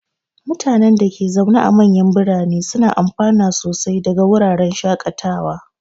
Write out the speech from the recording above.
Mutanen da ke zaune a manyan birane suna amfana sosai daga wuraren shakatawa.